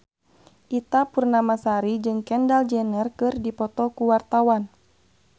Ita Purnamasari jeung Kendall Jenner keur dipoto ku wartawan